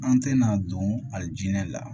An tɛna don ali jinɛ la